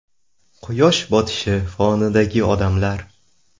Quyosh botishi fonidagi odamlar.